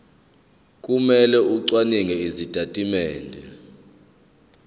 kumele acwaninge izitatimende